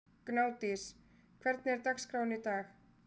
Gnádís, hvernig er dagskráin í dag?